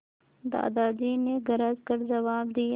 दादाजी ने गरज कर जवाब दिया